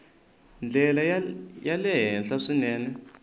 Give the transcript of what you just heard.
ndlela ya le henhla swinene